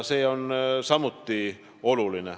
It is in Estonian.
See on samuti oluline.